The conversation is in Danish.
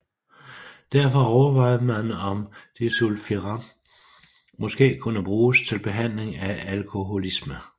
Derfor overvejede man om disulfiram måske kunne bruges til behandling af alkoholisme